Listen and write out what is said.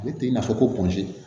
Ne tɛ i n'a fɔ ko